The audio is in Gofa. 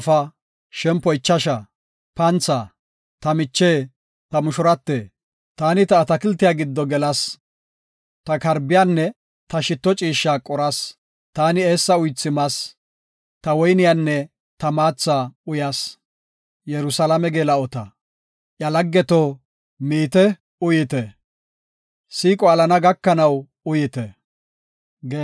Ta miche, ta mushurate, taani ta atakiltiya giddo gelas. Ta karbiyanne ta shitto ciishsha qoras; taani eessa uythi mas; ta woyniyanne ta maatha uyas. Yerusalaame Geela7ota Iya laggeto, miite uyite; siiqo alana gakanaw uyite.